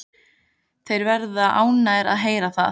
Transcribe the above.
Þeir verða ánægðir að heyra það.